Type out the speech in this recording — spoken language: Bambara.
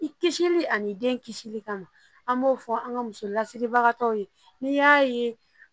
I kisili ani den kisili kama an b'o fɔ an ka musolasigibagaw ye n'i y'a ye